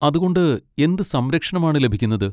അതുകൊണ്ട് എന്ത് സംരക്ഷണം ആണ് ലഭിക്കുന്നത്?